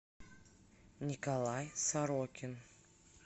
николай сорокин